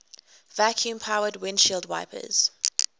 vacuum powered windshield wipers